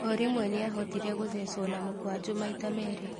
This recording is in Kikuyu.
Orĩmwe nĩahotire gũthecwo na mũkwanjũ maita merĩ.